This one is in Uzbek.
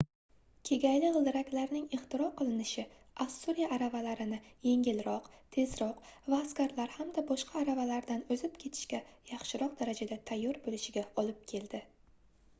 kegayli gʻildiraklarning ixtiro qilinishi ossuriya aravalarini yengilroq tezroq va askarlar hamda boshqa aravalardan oʻzib ketishga yaxshiroq darajada tayyor boʻlishiga olib keldi